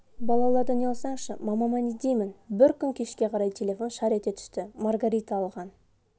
балалардан ұялсаңшы мамама не деймін бір күн кешке қарай телефон шар ете түсті маргарита алған